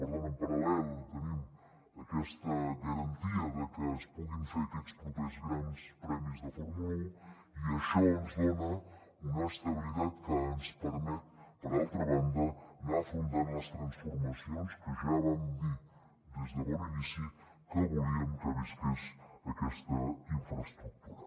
per tant en paral·lel tenim aquesta garantia de que es puguin fer aquests propers grans premis de fórmula un i això ens dona una estabilitat que ens permet per altra banda anar afrontant les transformacions que ja vam dir des de bon inici que volíem que visqués aquesta infraestructura